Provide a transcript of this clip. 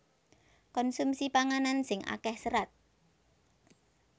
Konsumsi panganan sing akéh serat